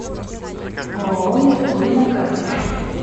ооо меркурий на карте